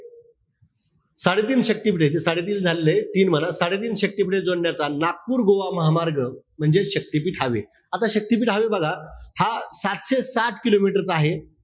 साडेतीन शक्तिपीठे, साडेतीन झालेलेय. तीन म्हणा. साडेतीन शक्तिपीठे नागपूर गोवा महामार्ग म्हणजे शक्तीपीठ हवे. आता शक्तीपीठ हवे बघा. हा सातशे सात kilometer चा आहे.